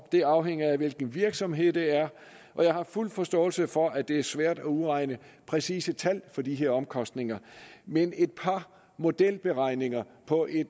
det afhænger af hvilken virksomhed det er og jeg har fuld forståelse for at det er svært at udregne præcise tal for de her omkostninger men et par modelberegninger på en